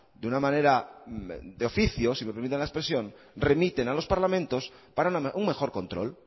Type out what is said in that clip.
de una manera de oficio si me permiten la expresión remiten a los parlamentos para un mejor control